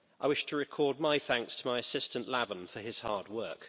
I wish to record my thanks to my assistant, Lavan, for his hard work.